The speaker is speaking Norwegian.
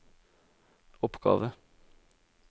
oppgave